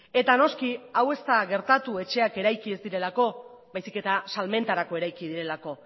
eta noski hau ez da gertatu etxeak eraiki ez direlako baizik eta salmentarako eraiki direlako